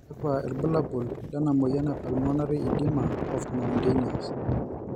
kakua irbulabol lena moyian e Pulmonary edema of mountaineers?